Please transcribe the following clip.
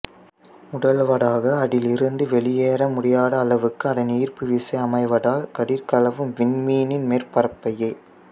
முதலாவதாக அதில் இருந்து ஒளி வெளியேற முடியாத அளவுக்கு அதன் ஈர்ப்பு விசை அமைவதால் கதிர்களவும் விண்மீனின் மேற்பரப்பையே